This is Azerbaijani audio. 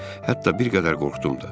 Hətta bir qədər qorxdum da.